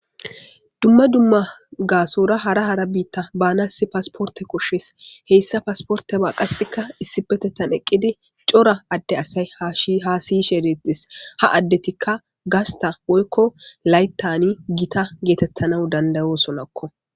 Dumma dumma gaasora hara hara biitta baanasi pasporte kushshis heyssa pasporteba qasseka issipetettan eqqidi cora adde asay haasiyishe eretis ha addetikka gasta woykko layttani gita geetettana dandayosonakko.